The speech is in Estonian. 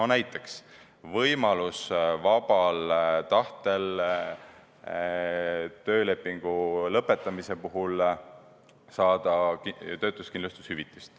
Näiteks, võimalus vabal tahtel töölepingu lõpetamise puhul saada töötuskindlushüvitist.